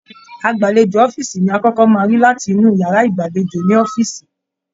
Agbalejo ọ̀fiísí ni akọkọ máa rí latinu yàrá ìgbàlèjo ní ọ̀fiísí.